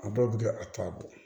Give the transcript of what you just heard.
A bɛɛ bɛ kɛ a t'a bɔ